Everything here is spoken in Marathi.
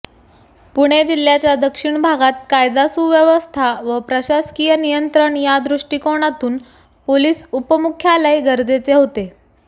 पुणे जिल्ह्याच्या दक्षिण भागात कायदा सुव्यवस्था व प्रशासकीय नियंत्रण या दृष्टिकोनातून पोलिस उपमुख्यालय गरजेचे होते